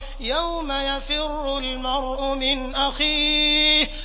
يَوْمَ يَفِرُّ الْمَرْءُ مِنْ أَخِيهِ